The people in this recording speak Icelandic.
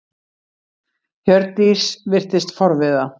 Hjördís virtist forviða.